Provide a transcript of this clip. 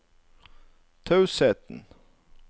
tausheten